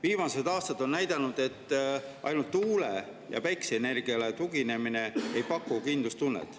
Viimased aastad on näidanud, et ainult tuule‑ ja päikeseenergiale tuginemine ei paku kindlustunnet.